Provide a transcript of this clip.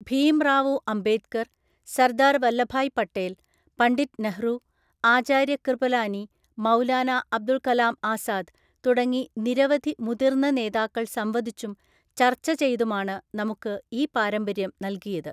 ഭീംറാവുഅംബേദ്കര്‍, സര്‍ദാര്‍ വല്ലഭായ് പട്ടേല്‍, പണ്ഡിറ്റ് നെഹ്റു, ആചാര്യകൃപലാനി, മൗലാന അബുല്കലാംആസാദ് തുടങ്ങി നിരവധി മുതിർന്ന നേതാക്കള്‍ സംവദിച്ചും, ചർച്ച ചെയ്തുമാണ് നമുക്ക് ഈ പാരമ്പര്യം നൽകിയത്.